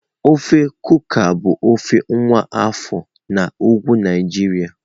Ofe Kuka bụ ofe nwa afọ na Ugwu Naijiria.